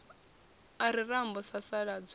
a re rambo a sasaladzwa